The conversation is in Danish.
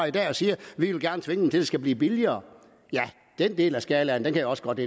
i dag og siger vi vil gerne tvinge det skal blive billigere ja den del af skalaen kan jeg også godt